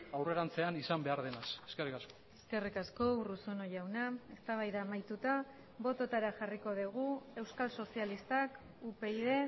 aurrerantzean izan behar denaz eskerrik asko eskerrik asko urruzuno jauna eztabaida amaituta bototara jarriko dugu euskal sozialistak upyd